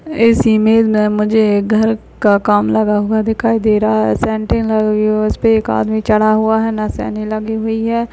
इस इमेज में मुझे एक घर का काम लगा हुआ दिखाई दे रहा है लगी हुई है उसपे एक आदमी चढ़ा हुआ है मशीने लगी हुई है।